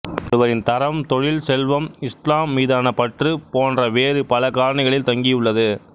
ஒருவரின் தரம் தொழில் செல்வம் இஸ்லாம் மீதான பற்று போன்ற வேறு பல காரணிகளில் தங்கியுள்ளது